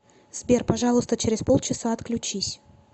сбер пожалуйста через полчаса отключись